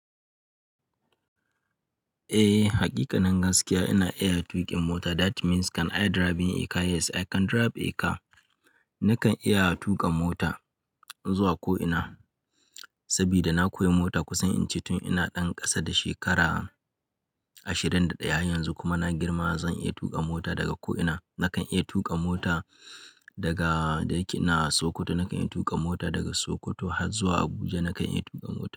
Eh, hakikanin gaskiya ina iya tuƙin mota. That means kan i driving a car, yes I can drive a car. Nakan iya tuƙa mota zuwa ko'ina saboda na koyi mota kusan ince tun ina ɗan ƙasa da shekara ashirin da ɗaya. Yanzu kuma na girma zan iya tuƙa mota daga ko'ina. Nakan iya tuƙa mota daga da yake na a Sokoto, nakan iya tuƙa mota daga Sokoto har zuwa Abuja, nakan iya tuƙa mota.